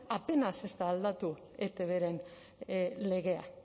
apenas ez da aldatu etbren legea